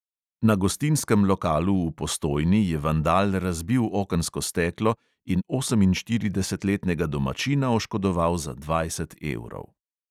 Na gostinskem lokalu v postojni je vandal razbil okensko steklo in oseminštiridesetletnega domačina oškodoval za dvajset evrov.